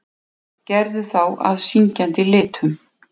Gerðu þá að syngjandi litum.